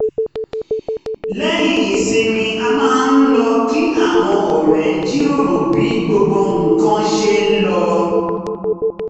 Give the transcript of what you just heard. lẹ́yìn ìsinmi a máa ń lọ kí àwọn ọ̀rẹ́ jíròrò bí gbogbo nǹkan ṣe lọ